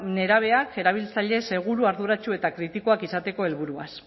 nerabeak erabiltzaile seguru arduratsu eta kritikoak izateko helburuaz